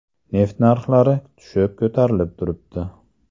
Neft narxlari tushib-ko‘tarilib turibdi.